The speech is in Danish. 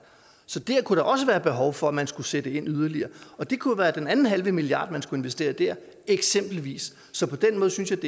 så der kunne der også være et behov for at man skulle sætte yderligere ind og det kunne være den anden halve milliard man skulle investere der eksempelvis så på den måde synes jeg